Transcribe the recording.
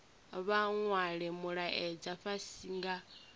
vha nwale mulaedza fhasi nga